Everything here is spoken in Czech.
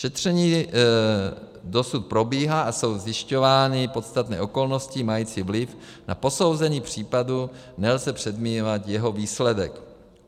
Šetření dosud probíhá a jsou zjišťovány podstatné okolnosti mající vliv na posouzení případu, nelze předjímat jeho výsledek.